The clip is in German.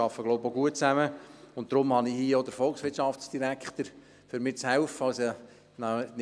Deshalb habe ich hier auch den Volkswirtschaftsdirektor an meiner Seite, damit er mir helfen kann.